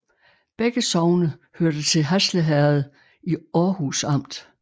Begge sogne hørte til Hasle Herred i Århus Amt